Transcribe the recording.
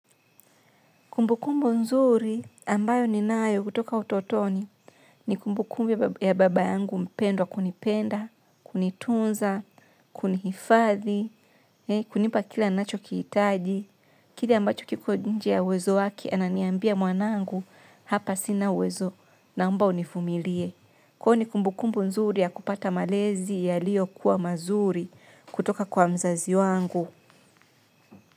Kumbukumbu nzuri ambayo ninayo kutoka utotoni ni kumbukumbu ya baba yangu mpendwa kunipenda, kunitunza, kunihifadhi, kunipa kila nachokihitaji, kile ambacho kiko nje ya uwezo wake ananiambia mwanangu hapa sina uwezo naomba univumilie. Kuwa ni kumbukumbu nzuri ya kupata malezi yaliyokuwa mazuri kutoka kwa mzazi wangu.